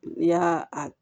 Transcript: N'i y'a a